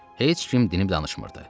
Heç kim dinib-danışmırdı.